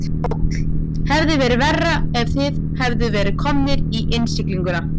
Páll: Hefði verið verra ef þið hefðuð verið komnir í innsiglinguna?